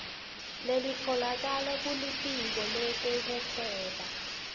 lelitfolakala kulitiko letekuhweba